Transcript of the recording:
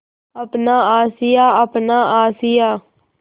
अपना आशियाँ अपना आशियाँ